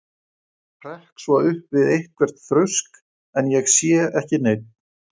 Hrekk svo upp við eitthvert þrusk, en ég sé ekki neinn.